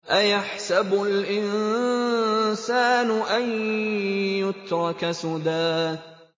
أَيَحْسَبُ الْإِنسَانُ أَن يُتْرَكَ سُدًى